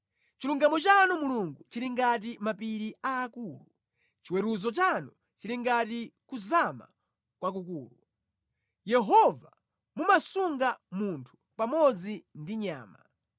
Chilungamo chanu Mulungu chili ngati mapiri aakulu, chiweruzo chanu chili ngati kuzama kwakukulu. Yehova mumasunga munthu pamodzi ndi chinyama.